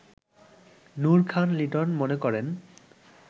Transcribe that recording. নূর খান লিটন মনে করেন